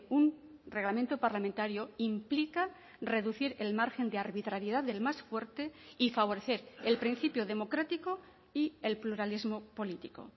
un reglamento parlamentario implica reducir el margen de arbitrariedad del más fuerte y favorecer el principio democrático y el pluralismo político